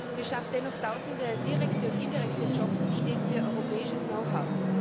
Sie schafft dennoch Tausende direkte und indirekte Jobs und steht für europäisches Know how.